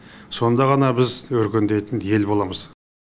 сонда ғана біз өркендейтін ел боламыз